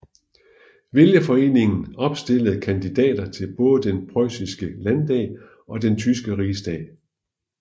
Vælgerforeningen opstillede kandidater til både den preussiske landdag og den tyske rigsdag